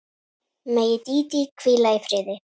Megi Dídí hvíla í friði.